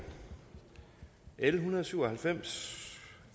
l en hundrede og syv og halvfems